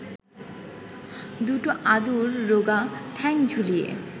দুটো আদুর রোগা ঠ্যাং ঝুলিয়ে